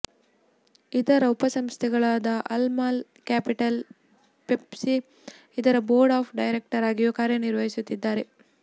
ಇದರ ಉಪಸಂಸ್ಥೆಗಳಾದ Al Mal Capital PSC ಇದರ ಬೋರ್ಡ್ ಆಫ್ ಡೈರಕ್ಟರ್ ಆಗಿಯೂ ಕಾರ್ಯನಿರ್ವಹಿಸುತ್ತಿದ್ದಾರೆ